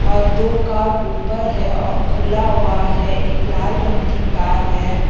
और दो कार ऊपर है और खुला हुआ है एक लाल रंग की कार है।